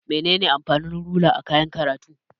Menene amfanin rula a kayan karatu?